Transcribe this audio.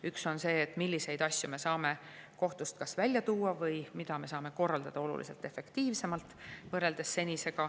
Üks on see, milliseid asju me saame kas kohtust välja viia või mida me saame korraldada oluliselt efektiivsemalt kui seni.